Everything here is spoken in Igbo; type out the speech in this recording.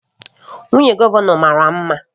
Nwunye gọvanọ mara mma